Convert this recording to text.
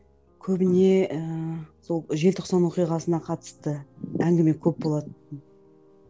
көбіне ыыы сол желтоқсан оқиғасына қатысты әңгіме көп болады